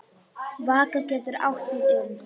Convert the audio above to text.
Vaka getur átt við um